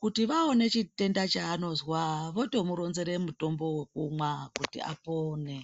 Kuti vaone chitenda chaanozwa votomuronzere mutombo wekumwa kuti apone.